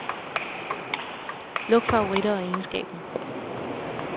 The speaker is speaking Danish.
Luk favoritter og egenskaber.